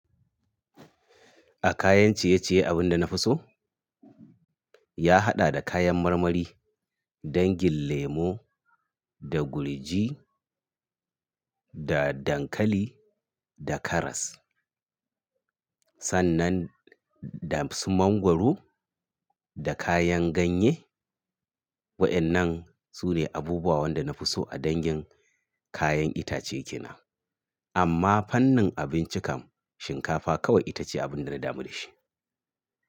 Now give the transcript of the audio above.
A kayan ciye-ciye abunda na fi so ya haɗa da kayan marmari, dangin lemo da gurji da dankali da karas sannan da su mangwaro da kayan ganye. Wa'yannan su ne abubuwan da na fi so a dangin kayan itace ke nan. Amma fannin abinci kam shinkafa kawai ita ce abunda na damu da shi.